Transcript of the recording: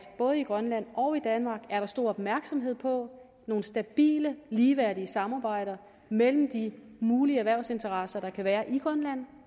både i grønland og i danmark er der stor opmærksomhed på nogle stabile ligeværdige samarbejder mellem de mulige erhvervsinteresser der kan være i grønland